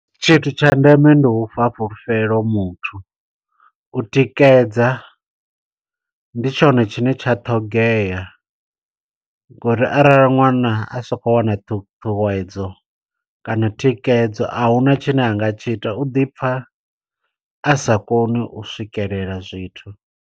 Tshithu tsha ndeme ndi ufha fhulufhelo muthu. U tikedza, ndi tshone tshine tsha ṱhogea, ngo uri arali ṅwana a sa khou wana ṱhuṱhuwedzo kana thikedzo, a huna tshine anga tshi ita. U ḓi pfa a sa koni u swikelela zwithu.